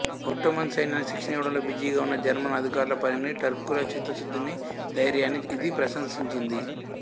Ottoman సైన్యానికి శిక్షణ ఇవ్వడంలో బిజీగా ఉన్న జర్మన్ అధికారుల పనిని టర్కుల చిత్తశుద్ధిని ధైర్యాన్నీ ఇది ప్రశంసించింది